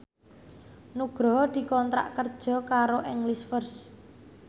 Nugroho dikontrak kerja karo English First